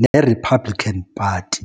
ne-Republican Party.